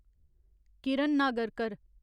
Kiran Nagarkar